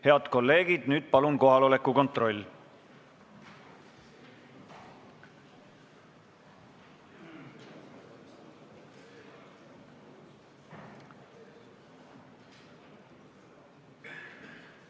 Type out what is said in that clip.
Head kolleegid, palun kohaloleku kontroll!